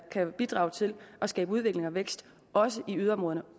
kan bidrage til at skabe udvikling og vækst også i yderområderne